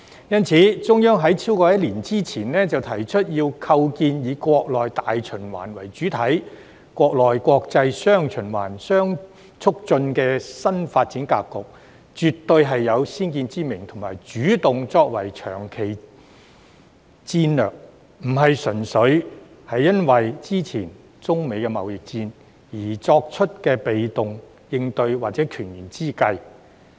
因此，在超過一年之前，中央提出要構建"以國內大循環為主體、國內國際'雙循環'相互促進"的新發展格局，絕對是有先見之明的主動作為及長期戰略，並非純粹因應之前中美貿易戰而作出的被動應對或權宜之計。